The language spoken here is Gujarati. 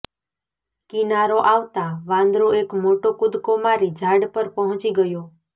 કિનારો આવતાં વાંદરો એક મોટો કૂદકો મારી ઝાડ પર પહોંચી ગયો